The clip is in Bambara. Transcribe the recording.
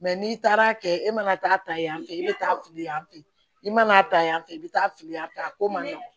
n'i taara kɛ e mana taa yan fɛ i bɛ taa fili yan fɛ i mana taa yan fɛ i bɛ taa fili yan fɛ a ko man nɔgɔn